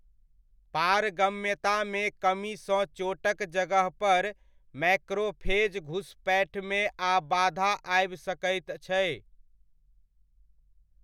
पारगम्यतामे कमीसँ चोटक जगहपर मैक्रोफेज घुसपैठमे आ बाधा आबि सकैत छै।